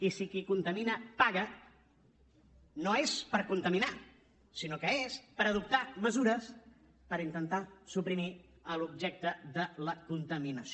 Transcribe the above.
i si qui contamina paga no és per contaminar sinó que és per adoptar mesures per intentar suprimir l’objecte de la contaminació